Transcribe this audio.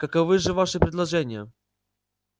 каковы же ваши предложения